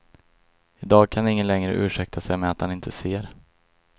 I dag kan ingen längre ursäkta sig med att han inte ser.